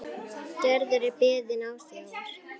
Gerður er beðin ásjár.